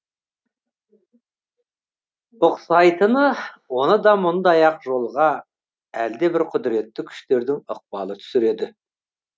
ұқсайтыны оны да мұндай ақ жолға әлде бір құдіретті күштердің ықпалы түсіреді